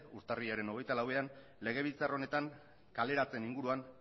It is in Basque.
urtarrilaren hogeita lauean legebiltzar honetan kaleratzeen inguruan